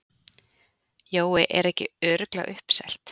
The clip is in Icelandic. Jói, er ekki örugglega uppselt?